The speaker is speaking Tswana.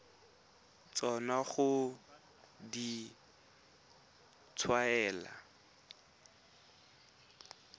tsona ga di a tshwanela